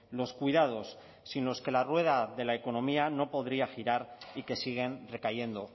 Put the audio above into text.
los cuidados sino que la rueda de la economía no podría girar y que siguen recayendo